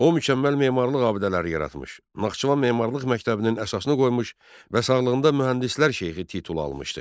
O mükəmməl memarlıq abidələri yaratmış, Naxçıvan memarlıq məktəbinin əsasını qoymuş və sağlığında mühəndislər şeyxi titulu almışdı.